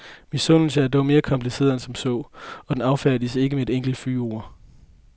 Misundelsen er dog mere kompliceret end som så, og den affærdiges ikke med et enkelt fyndord.